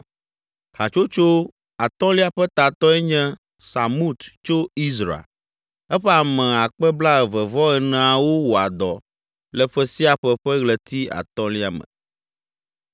Hatsotso atɔ̃lia ƒe tatɔe nye Samut tso Izra. Eƒe ame akpe blaeve-vɔ-eneawo (24,000) wɔa dɔ le ƒe sia ƒe ƒe ɣleti atɔ̃lia me.